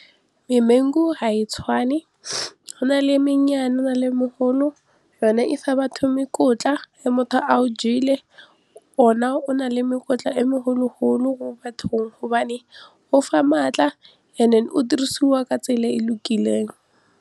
Memangu ga e tshwane go na le mennyane go na le e mogolo yone e fa batho ge motho a o jele ona o na le mekotla e megologolo mo bathong gobane o fa maatla and then o dirisiwa ka tsela e lokileng.